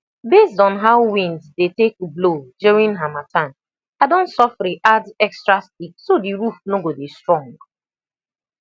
based on how wind dey take blow during harmattan i don sofri add extra stick so the roof no go dey strong